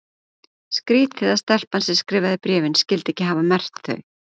Skrítið að stelpan sem skrifaði bréfin skyldi ekki hafa merkt þau.